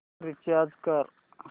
recharge कर